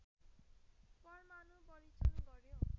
परमाणु परीक्षण गऱ्यो